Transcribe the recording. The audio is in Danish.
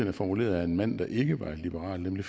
er formuleret af en mand der ikke var liberal nemlig